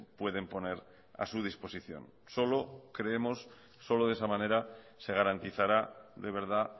pueden poner a su disposición solo de esa manera se garantizará de verdad